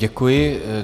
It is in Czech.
Děkuji.